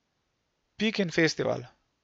Pikin festival.